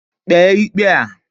Kpee ikpe a.